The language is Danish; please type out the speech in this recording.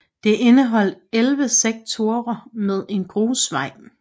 Det indeholdt 11 sektorer med grusvej